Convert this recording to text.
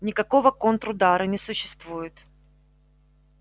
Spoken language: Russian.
никакого контрудара не существует